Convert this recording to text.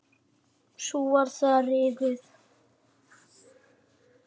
Svo var það rifið.